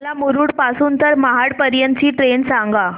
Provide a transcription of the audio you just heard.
मला मुरुड पासून तर महाड पर्यंत ची ट्रेन सांगा